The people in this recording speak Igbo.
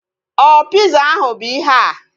Ọ piza ahu bụ ihea?